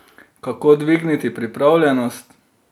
Kako dvigniti pripravljenost?